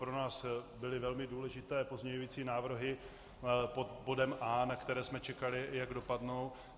Pro nás byly velmi důležité pozměňující návrhy pod bodem A, na které jsme čekali, jak dopadnou.